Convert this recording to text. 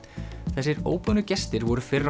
þessir óboðnu gestir voru fyrr á